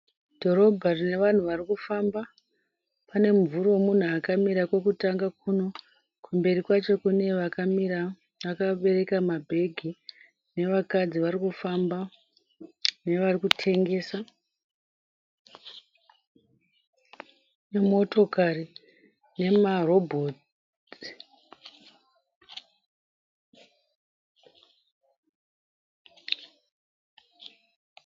Dhorobha rine vanhu varikufamba, pane mumvuri wemunhu akamira kwekutanga kuno kumberi kwacho kune vakamira vakabereka mabag, nevakadzai varikufamba nevari kutengesa ,nemotokari nemarobhotsi.